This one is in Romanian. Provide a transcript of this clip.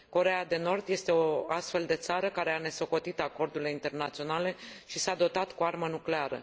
Coreea de Nord este o astfel de țară care a nesocotit acordurile internaționale și s a dotat cu armă nucleară.